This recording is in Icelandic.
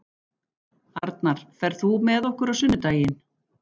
Arnar, ferð þú með okkur á sunnudaginn?